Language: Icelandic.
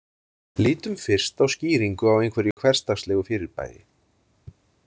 Lítum fyrst á skýringu á einhverju hversdagslegu fyrirbæri.